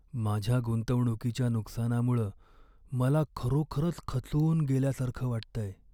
माझ्या गुंतवणुकीच्या नुकसानामुळं मला खरोखरच खचून गेल्यासारखं वाटतंय.